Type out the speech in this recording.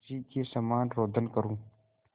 उसी के समान रोदन करूँ